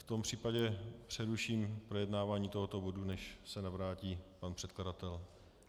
V tom případě přeruším projednávání tohoto bodu, než se navrátí pan předkladatel.